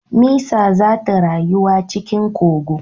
Mesa zata rayuwa cikin kogo